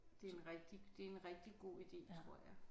Det er en rigtig det er en rigtig god ide tror jeg